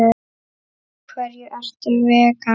Af hverju ertu vegan?